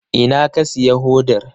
Ina ka siya hodar?